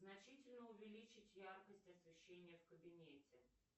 значительно увеличить яркость освещения в кабинете